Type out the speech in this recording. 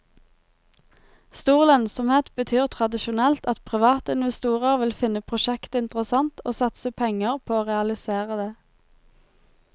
Stor lønnsomhet betyr tradisjonelt at private investorer vil finne prosjektet interessant og satse penger på å realisere det.